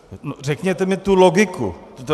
- Řekněte mi tu logiku.